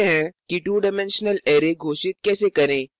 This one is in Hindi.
देखते हैं कि 2डाइमेंशनल array घोषित कैसे करें